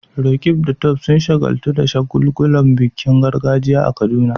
Roqeeb da Tope sun shagaltu da shagulgulan bikin gargajiya a Kaduna.